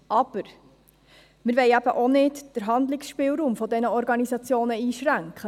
Aber: Wir wollen auch den Handlungsspielraum dieser Organisationen nicht einschränken.